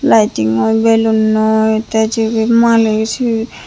lightingoi balloonoi te jibi malik cibi.